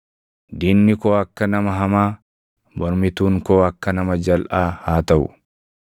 “Diinni koo akka nama hamaa, mormituun koo akka nama jalʼaa haa taʼu!